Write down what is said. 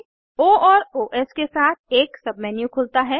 ओ और ओएस के साथ एक सबमेन्यू खुलता है